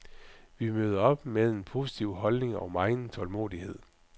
Vi møder op med en positiv holdning og megen tålmodighed.